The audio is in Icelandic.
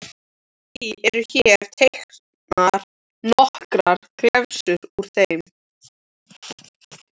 Því eru hér teknar nokkrar glefsur úr þeim